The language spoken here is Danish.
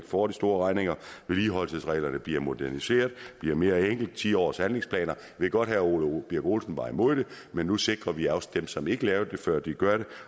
får de store regninger vedligeholdelsesreglerne bliver moderniseret bliver mere enkle med ti årshandlingsplaner ved godt at herre ole birk olesen var imod det men nu sikrer vi at også dem som ikke lavede det før gør det